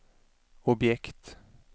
objekt